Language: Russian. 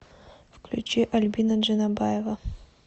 включи альбина джанабаева